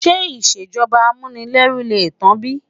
Ṣé ìṣèjọba Amunileru lè tán bí?